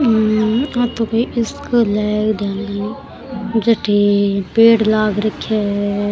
हम्म आ तो कोई स्कूल है ध्यान को जठे पेड़ लाग रखिया है।